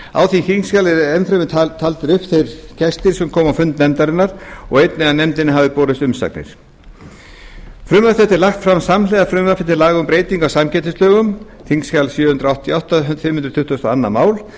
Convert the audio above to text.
á því þingskjali eru enn fremur taldir upp þeir gestir sem komu á fund nefndarinnar og þess getið að nefndinni hafi borist umsagnir frumvarp þetta er lagt fram samhliða frumvarpi til laga um breytingu á samkeppnislögum þingskjali sjö hundruð áttatíu og átta fimm hundruð tuttugustu og önnur mál